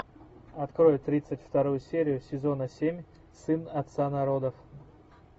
открой тридцать вторую серию сезона семь сын отца народов